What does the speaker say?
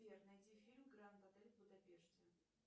сбер найти фильм гранд отель в будапеште